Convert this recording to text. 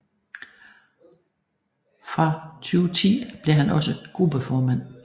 Fra 2010 blev han også gruppeformand